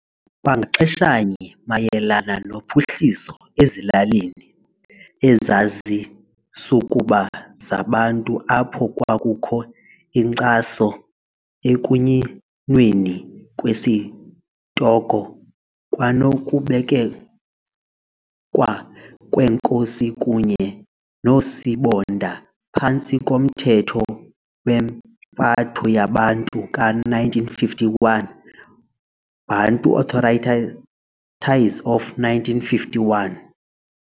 Kwangaxeshanye mayelana nophuhliso ezilalini ezazisukuba zaBantu apho kwakukho inkcaso ekunyinweni kwesitoko kwanokubekwa kweenkosi kunye noosibonda phantsi komthetho wempatho yeBantu ka-1951, Bantu Authorities of 1951.